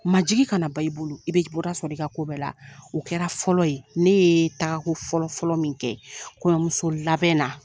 Majigi kana ban i bolo i bɛ bɔda sɔrɔ i ka ko bɛɛ la o kɛra fɔlɔ ye ne yee taako fɔlɔfɔlɔ min kɛ kɔɲɔmuso labɛn na